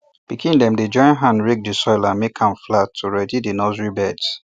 pikin dem dey join hand rake di soil and make am flat to ready di nursery beds